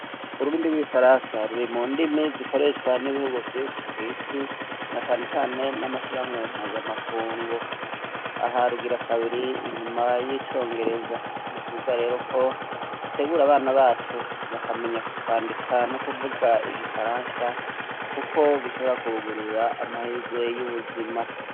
Ururimi rw'Igifaransa ruri mu ndimi zikoreshwa n'ibihugu vyinshi kw'isi, na cane cane n'amashirahamwe mpuzamakungu. Aha rugira kabiri inyuma y'Icongereza. Ni vyiza rero ko dutegura abana bacu bakamenya kwandika no kuvuga Igifaransa kuko bishobora kubugururira amahirwe y'ubuzima.